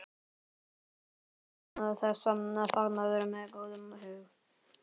Ég kom hingað til þessa fagnaðar með góðum hug.